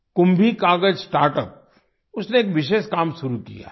कुंभी कागज कुंभिकागज़ स्टार्टअप उसने एक विशेष काम शुरू किया है